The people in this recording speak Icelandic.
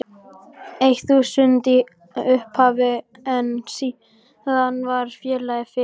eitt þúsund í upphafi en síðan varð félagið fyrir